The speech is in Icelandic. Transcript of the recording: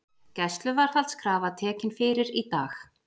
Gæsluvarðhaldskrafa tekin fyrir í dag